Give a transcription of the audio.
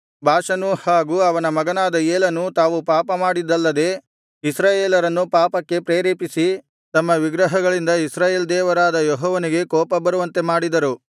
ಬಾಷನೂ ಹಾಗು ಅವನ ಮಗನಾದ ಏಲನೂ ತಾವು ಪಾಪಮಾಡಿದ್ದಲ್ಲದೆ ಇಸ್ರಾಯೇಲರನ್ನು ಪಾಪಕ್ಕೆ ಪ್ರೇರೇಪಿಸಿ ತಮ್ಮ ವಿಗ್ರಹಗಳಿಂದ ಇಸ್ರಾಯೇಲ್ ದೇವರಾದ ಯೆಹೋವನಿಗೆ ಕೋಪಬರುವಂತೆ ಮಾಡಿದರು